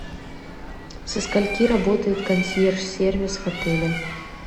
со скольки работает консьерж сервис в отеле